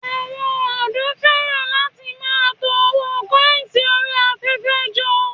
Àwọn òdò fẹ́ràn láti máa to owó kọ́ìnsì orí afẹ́fẹ́ jọ